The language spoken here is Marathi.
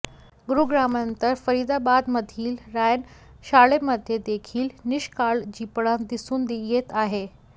गुरुग्रामनंतर फरीदाबादमधील रायन शाळेमध्ये देखील निष्काळजीपणा दिसून येत आहे